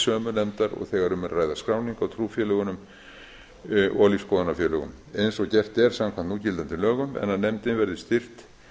sömu nefndar og þegar um er að ræða skráningu á trúfélögunum og lífsskoðunarfélögum eins og gert er samkvæmt núgildandi lögum en að nefndin verði styrkt